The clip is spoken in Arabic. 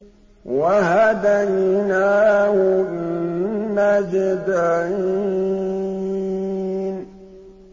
وَهَدَيْنَاهُ النَّجْدَيْنِ